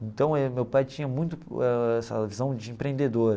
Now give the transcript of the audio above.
Então é, meu pai tinha muito ãh essa visão de empreendedor.